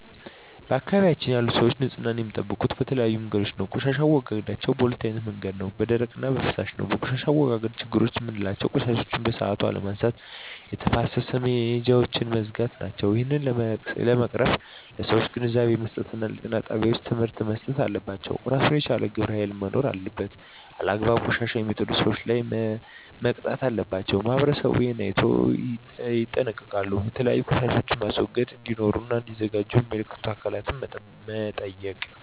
በአካባቢያችን ያሉ ሰዎች ንፅህና የሚጠብቁ በተለያዩ መንገዶች ነው ቆሻሻ አወጋገዳቸዉ በ2አይነት መንገድ ነው በደረቅ እና በፍሳሽ ነው በቆሻሻ አወጋገድ ችግሮች ምላቸው ቆሻሻዎችን በሠአቱ አለመነሳት የተፋሰስ መሄጃውች መዝጋት ናቸው እሄን ለመቅረፍ ለሠዎች ግንዛቤ መስጠት እና ጤና ጣቤዎች ትምህርቶች መሰጠት አለባቸው እራሱን የቻለ ግብረ ሀይል መኖር አለበት አላግባብ ቆሻሻ የሜጥሉ ሠዎች ላይ መቅጣት አለባቸው ማህበረሠቡ እሄን አይነቶ ይጠነቀቃሉ የተለያዩ ቆሻሻ ማስወገጃ እዴኖሩ እና እዲዘጋጁ ሚመለከታቸው አካላት መጠየቅ